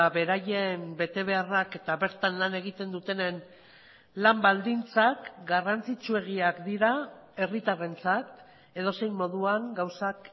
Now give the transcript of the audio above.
beraien betebeharrak eta bertan lan egiten dutenen lan baldintzak garrantzitsuegiak dira herritarrentzat edozein moduan gauzak